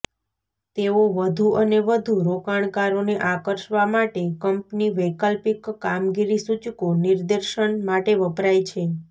તેઓ વધુ અને વધુ રોકાણકારોને આકર્ષવા માટે કંપની વૈકલ્પિક કામગીરી સૂચકો નિદર્શન માટે વપરાય છે